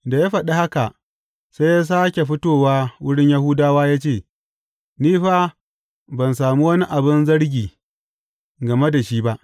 Da ya faɗi haka, sai ya sāke fitowa wurin Yahudawa ya ce, Ni fa ban sami wani abin zargi game da shi ba.